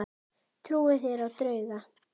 Trúið þér á drauga?